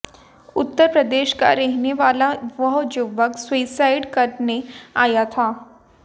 उत्तर प्रदेश का रहने वाला वह युवक सुसाइड करने आया था